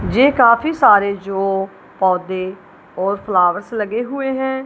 जे काफी सारे जो पौधे और फ्लावर्स लगे हुए है।